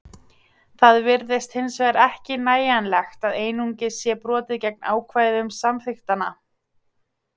Það virðist hins vegar ekki nægjanlegt að einungis sé brotið gegn ákvæðum samþykktanna.